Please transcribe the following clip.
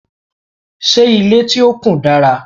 ṣé ilé tí o kùn dára?